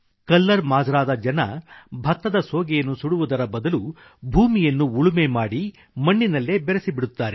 colour ಮಾಜ್ರಾದ ಜನ ಭತ್ತದ ಸೋಗೆಯನ್ನು ಸುಡುವುದರ ಬದಲು ಭೂಮಿಯನ್ನು ಉಳುಮೆ ಮಾಡಿ ಮಣ್ಣಿನಲ್ಲೇ ಬೆರೆಸಿಬಿಡುತ್ತಾರೆ